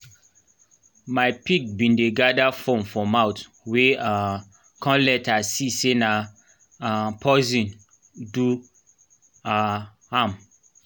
my pig been dey gather foam for mouth we um come later see say na um poison do um am